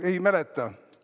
Ei mäleta?